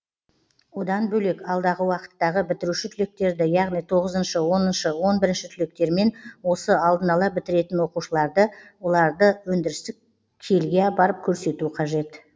одан бөлек алдағы уақыттағы бітіруші түлектерді яғни тоғызыншы оныншы он бірінші түлектермен осы алдын ала бітіреін оқушыларды оларды өндірістік келге апарып көрсету қажет